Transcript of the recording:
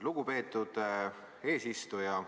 Lugupeetud eesistuja!